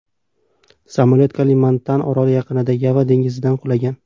Samolyot Kalimantan oroli yaqinida, Yava dengiziga qulagan.